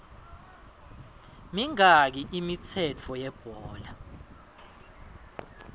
mingaki imithetho yebhola